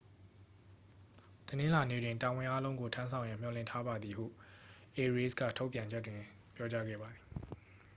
တနင်္လာနေ့တွင် တာဝန်အားလုံးကို ထမ်းဆောင်ရန်မျှော်လင့်ထားပါသည် ဟု အေရေးစ် က ထုတ်ပြန်ချက်တွင် ပြောကြားခဲ့ပါသည်